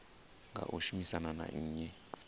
nga u shumisana na nnyi